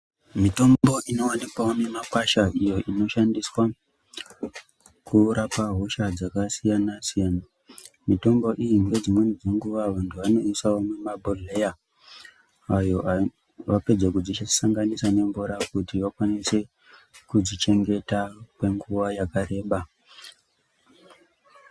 Mitombo inowanikwao mumikwasha iyo inoshandiswa kurapa hosha dzakasiyana siyana mitombo iyi nedzimweni dzenguwa vanthu vanoiise mumabhodhleya ayo vapedza kudzisanganisa nemvura kuti vakwanise kudzichengeta kwenguwa yakareba.